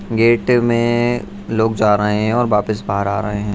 Gate में लोग जा रहे हैं और वापस बाहर आ रहे हैं।